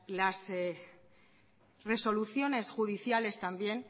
las resoluciones judiciales también